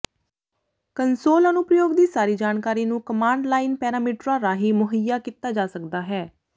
console ਅਨੁਪ੍ਰਯੋਗ ਦੀ ਸਾਰੀ ਜਾਣਕਾਰੀ ਨੂੰ ਕਮਾਂਡ ਲਾਈਨ ਪੈਰਾਮੀਟਰਾਂ ਰਾਹੀਂ ਮੁਹੱਈਆ ਕੀਤਾ ਜਾ ਸਕਦਾ ਹੈ